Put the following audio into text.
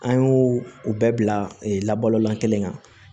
An y'o o bɛɛ bila kelen kan